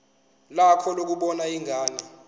lakho lokubona ingane